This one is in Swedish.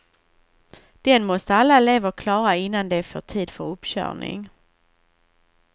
Den måste alla elever klara innan de får tid för uppkörning.